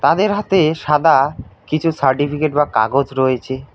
তাদের হাতে সাদা কিছু সার্টিফিকেট বা কাগজ রয়েছে।